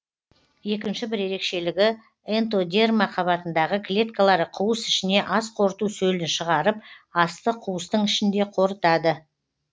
екінші бір ерекшелігі энтодерма қабатындағы клеткалары қуыс ішіне ас қорыту сөлін шығарып асты қуыстың ішінде қорытады